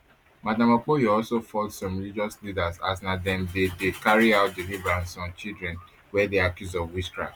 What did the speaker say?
madam okpoyo also fault some religious leaders as na dem dey dey carry out deliverance on children wey dey accused of witchcraft